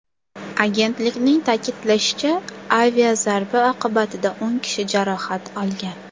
Agentlikning ta’kidlashicha, aviazarba oqibatida o‘n kishi jarohat olgan.